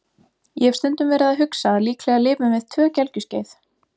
Ég hef stundum verið að hugsa að líklega lifum við tvö gelgjuskeið.